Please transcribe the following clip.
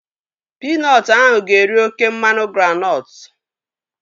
Pinọtụ ahụ ga-eri oké mmanụ granọtụ